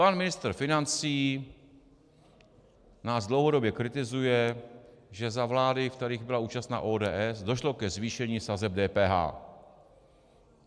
Pan ministr financí nás dlouhodobě kritizuje, že za vlád, v kterých byla účastna ODS, došlo ke zvýšení sazeb DPH.